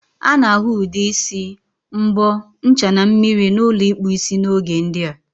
A na-ahu Ude isi, mbo, ncha na mmiri na ulo ikpu isi n'oge ndia.